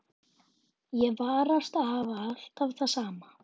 Og ég varast að hafa alltaf það sama.